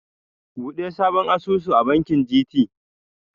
Buɗe sabon asusu a bankin GT.